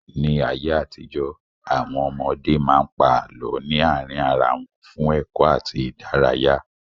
Ní ayé àtijó, Àwọn ọmọdé máa ń pa àlọ́ ní àárín ara wọn fún ẹ̀kọ́ àti ìdárayá.